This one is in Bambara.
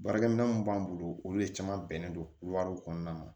Baarakɛminɛn mun b'an bolo olu le caman bɛnnen don wariw kɔnɔna ma